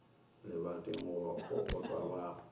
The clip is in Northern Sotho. lebating go a kokotwa ba